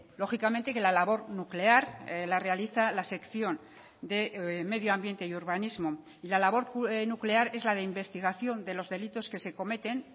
lógicamente que la labor nuclear la realiza la sección de medio ambiente y urbanismo y la labor nuclear es la de investigación de los delitos que se cometen